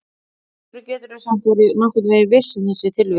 En af hverju geturðu samt verið nokkurn veginn viss í þessu tilviki?